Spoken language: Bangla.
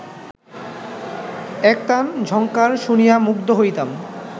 একতান ঝঙ্কার শুনিয়া মুগ্ধ হইতাম